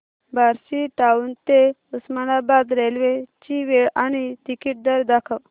Barshi town ते Osmanabad railway ची वेळ आणि तिकीट दर दाखव